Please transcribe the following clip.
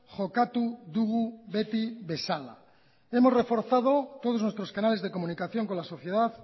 jokatu dugu beti bezala hemos reforzado todos nuestros canales de comunicación con la sociedad